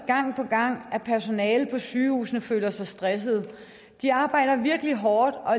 gang på gang at personalet på sygehusene føler sig stressede de arbejder virkelig hårdt og